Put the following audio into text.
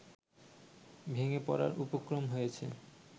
ভেঙে পড়ার উপক্রম হয়েছে